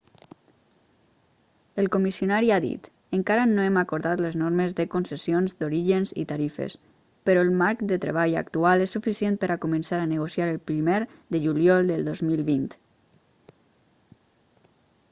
el comissionari ha dit: encara no hem acordat les normes de con[c]essions d'orígens i tarifes però el marc de treball actual és suficient per a començar a negociar el primer de juliol del 2020